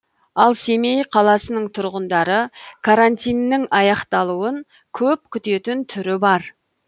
ал семей қаласының тұрғындары карантиннің аяқталуын көп күтетін түрі бар